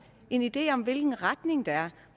en idé om hvilken retning der er